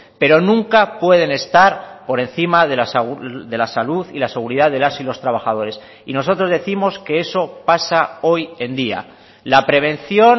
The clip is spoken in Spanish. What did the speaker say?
pero nunca pueden estar por encima de la salud y la seguridad de las y los trabajadores y nosotros décimos que eso pasa hoy en día la prevención